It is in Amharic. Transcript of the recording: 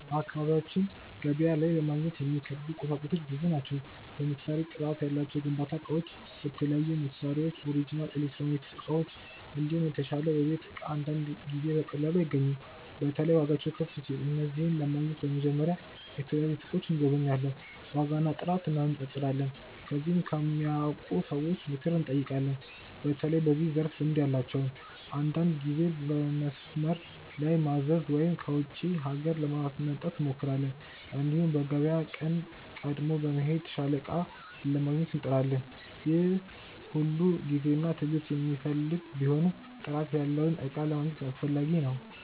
በአካባቢያችን ገበያ ላይ ለማግኘት የሚከብዱ ቁሳቁሶች ብዙ ናቸው። ለምሳሌ ጥራት ያላቸው የግንባታ እቃዎች፣ የተለያዩ መሳሪያዎች፣ ኦሪጅናል ኤሌክትሮኒክስ እቃዎች፣ እንዲሁም የተሻለ የቤት እቃ አንዳንድ ጊዜ በቀላሉ አይገኙም። በተለይ ዋጋቸው ከፍ ሲል። እነዚህን ለማግኘት በመጀመሪያ የተለያዩ ሱቆችን እንጎበኛለን፣ ዋጋና ጥራት እንነጻጸራለን። ከዚያም ከሚያውቁ ሰዎች ምክር እንጠይቃለን፣ በተለይ በዚያ ዘርፍ ልምድ ያላቸውን። አንዳንድ ጊዜ በመስመር ላይ ማዘዝ ወይም ከውጪ ሀገር ለማስመጣት እንሞክራለን። እንዲሁም በገበያ ቀን ቀድሞ በመሄድ የተሻለ እቃ ለማግኘት እንጥራለን። ይህ ሁሉ ጊዜና ትዕግስት የሚፈልግ ቢሆንም ጥራት ያለውን እቃ ለማግኘት አስፈላጊ ነው።